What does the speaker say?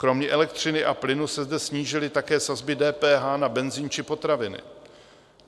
Kromě elektřiny a plynu se zde snížily také sazby DPH na benzin či potraviny.